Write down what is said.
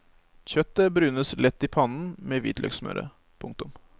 Kjøttet brunes lett i pannen med hvitløksmøret. punktum